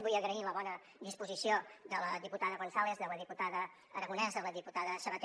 vull agrair la bona disposició de la diputada gonzález de la diputada aragonès de la diputada sabater